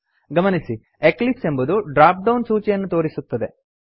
ಗಮನಿಸಿ ಎಕ್ಲಿಪ್ಸ್ ಎಂಬುದು drop down ಸೂಚಿಯನ್ನು ತೋರಿಸುತ್ತದೆ